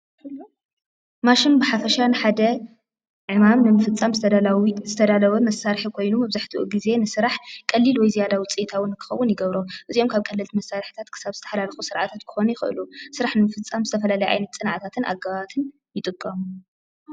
ማሽን ብሓፈሻ ንሓደ ዕማም ንምፍፃም ዝተዳለወ መሳርሒ ኮይኑ መብዛሕትኡ ጊዜ ንስራሕ ቀሊል ወይ ዝያዳ ውፂኢታዊ ንክኸውን ይገብሮ፡፡ አዚኦም ካብ ቀለልቲ ክሳብ ዝተሓላለኹ ክኾኑ ይኽእሉ ስራሕ ንምፍፃም ዝተፈላለዩ ፅንዓታትን ኣገባባትን ይጥቀሙ፡፡